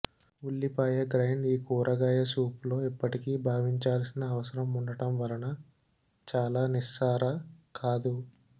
ఉల్లిపాయ గ్రైండ్ ఈ కూరగాయ సూప్లో ఇప్పటికీ భావించాల్సిన అవసరం ఉండటం వలన చాలా నిస్సార కాదు